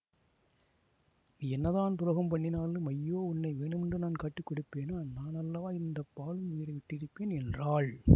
நீ என்ன தான் துரோகம் பண்ணினாலும் ஐயோ உன்னை வேணுமென்று நான் காட்டிக் கொடுப்பேனா நானல்லவா இந்த பாழும் உயிரை விட்டிருப்பேன் என்றாள்